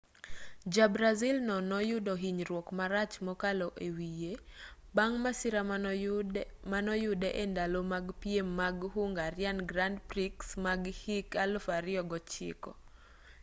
ja-brazil no noyudo hinyruok marach mokalo e wiye bang' masira manoyude e ndalo mag piem mag hungarian grand prix ma hik 2009